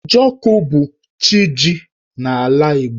Njọkụ bu chi jì n'ala Igbo.